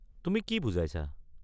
তুমি কি বুজাইছা?